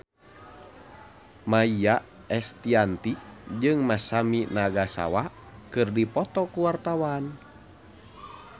Maia Estianty jeung Masami Nagasawa keur dipoto ku wartawan